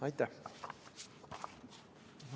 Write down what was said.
Aitäh!